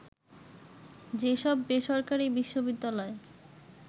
যেসব বেসরকারি বিশ্ববিদ্যালয়